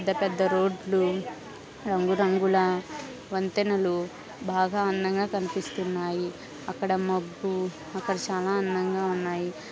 పెద్ద పెద్ద రోడ్లు రంగు రంగుల వంతెనలు బాగా అందంగా కనిపిస్తున్నాయి. అక్కడ మబ్బు అక్కడ చానా అందంగా ఉన్నాయి .